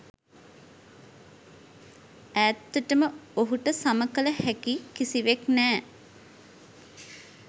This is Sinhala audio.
ඈත්තටම ඔහුට සම කල හෑකි කිසිවෙක් නෑ